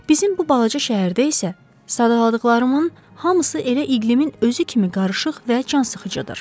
Bizim bu balaca şəhərdə isə sadaladıqlarımın hamısı elə iqlimin özü kimi qarışıq və cansıxıcıdır.